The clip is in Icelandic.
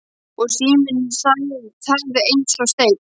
Og síminn þagði eins og steinn.